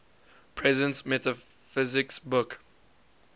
presence metaphysics book